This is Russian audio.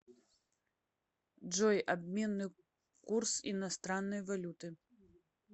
джой обменный курс иностранной валюты